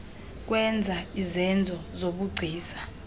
kwenza izenzo zobugcisa